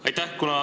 Aitäh!